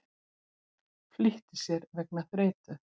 Flýtti sér vegna þreytu